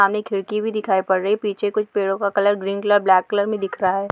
सामने एक खिड़की भी दिखाई पड़ रही है| पीछे कुछ पेड़ो का colour green colour black colour में दिख रहा है।